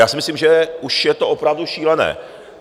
Já si myslím, že už je to opravdu šílené.